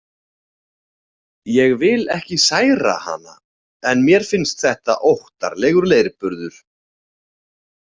Ég vil ekki særa hana en mér finnst þetta óttalegur leirburður.